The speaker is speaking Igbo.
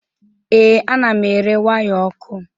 Ee, ana m ere waya ọkụ.